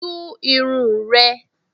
Tún irun rẹ!